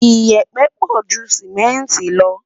iyepe pọ jù simẹnti lo